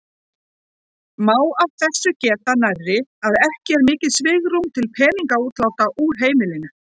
Má af þessu geta nærri að ekki er mikið svigrúm til peningaútláta úr heimilinu.